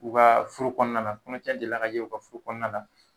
U ka furu kɔnɔna na kɔɲɔtiɲɛ delila kɛ u ka furu kɔnɔna na